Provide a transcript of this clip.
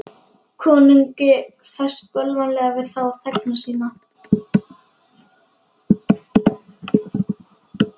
Konungi ferst bölvanlega við þá þegna sína.